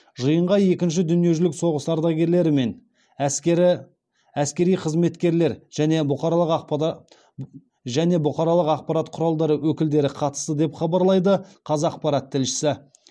жиынға екінші дүниежүзілік соғыс ардагерлері мен әскери қызметкерлер және бұқаралық ақпарат құралдары өкілдері қатысты деп хабарлайды қазақпарат тілшісі